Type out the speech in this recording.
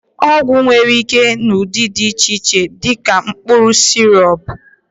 ọgwụ nwere ike ịbụ n'ụdị dị iche iche, dị ka mkpụrụ, sirọp wdg